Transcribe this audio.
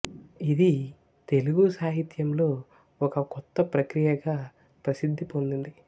ఇది తెలుగు సాహిత్యంలో ఒక కొత్త ప్రక్రియగా ప్రసిద్ధి పొందింది